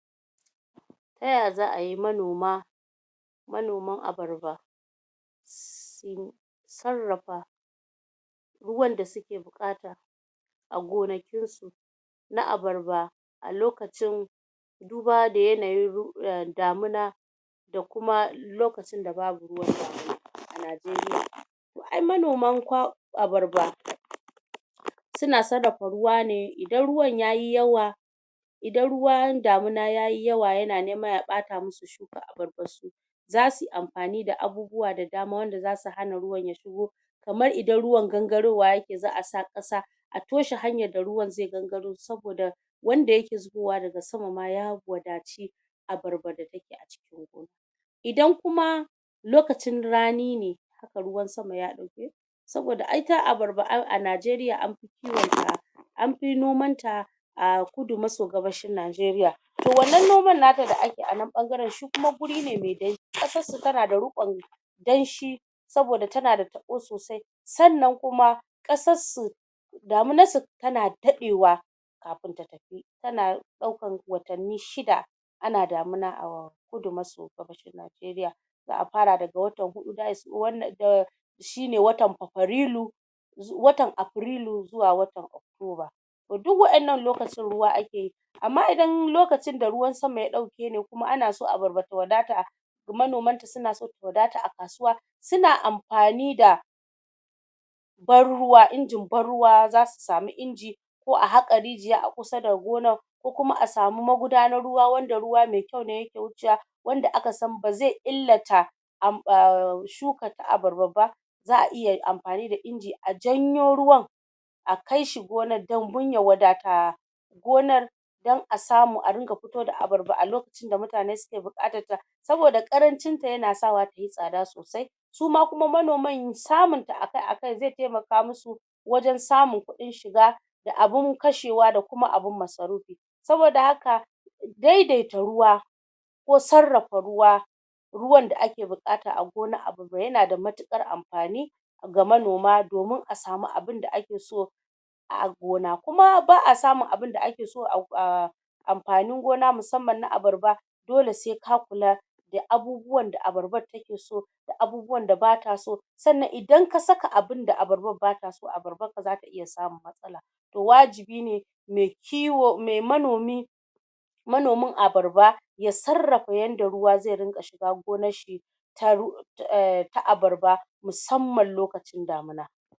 Ta ya za'a yi manoma, manoman abarba sarrafa ruwan da suke buƙata a gonakin su na abarba a lokacin duba da yanayin ru em damana da kuma lokacin da babu ruwan sama a Najeriya. Ai manoman kwa abarba su na sarrafa ruwa ne, idan ruwan yayi yawa idan ruwa damuna yayi yawa ya na nema ya ɓata musu abarbar su za su yi mafani da abubuwa da dama wanda za su hana ruwan ya shigo. Kamar idan ruwan gangarowa ya ke za'a sa ƙasa a toshe hanyar da ruwan zai gangaro saboda wanda ya ke zubowa daga sama ma ya wadatu abarba. Idan kuma lokacin rani ne ruwan sama ya saboda ai ita abarba a Najeriya an anfi noman ta a kudu maso-gabasshin Najeriya. To wannan noman nata da ake a nan ɓangaren shi kuma wuri ne mai danshi, ƙasar su ta na da riƙon danshi saboda ta na da taɓo sosai. Sannan kuma ƙasar su daminar su ta na daɗewa kafin ta ta na ɗaukan watanni shida ana damina a kudu maso-gabas Najeriya. Za'a fara daga watan huɗu za'a sa wannan ehm shi ne watan fafarilu watan Afirilu zuwa watan toba. To duk waƴannan lokacin ruwa ake yi. Amma idan lokacin da ruwan sama ya ɗauke shi ne kuma ana son abarba ta wadata manoman ta su na ta wadata a kasuwa, su na amfani da ban ruwa, injin ban ruwa, za su samu inji ko a haƙa rijiya a kusa da gonar ko kuma a samu magudanar ruwa wanda ruwa mai kyau ne ya ke wucewa wanda aka san ba zai illata am aa shuka, abarba ba. Za'a iya amfani da inji a janyo ruwan, a kaishi gonar don dun ya wadata gonar don a samu dunga fito da abarba a loka kacin da mutane suke buƙatar ta. Saboda ƙarancinta ya na sawa tayi tsada sosai Su ma kuma manoman samun ta akai-akai zai taimaka musu wajen samun kuɗin shiga da abun kashewa da kuma abun masarufi. Saboda haka dai-daita ruwa ko sarrafa ruwa ruwan da ake buƙata a gonar abarba ya na da matuƙar amfani ga manoma domin a samu abun da ake so a gona. Kuma ba'a samun abunda ake so a go aa amfanin gona musamman na abarba dole sai ka kula da abubuwan da abarbar take so da abubuwan da bata so. Sannan idan ka saka abunda abarbar bata so to abarbar ka za ta iya samun To wajibi ne mai kiwo, mai manomi, manomin abarba ya sarrafa yanda ruwa zai rinƙa shiga gonar shi ta ru eh, ta abarba musamman lokacin damuna.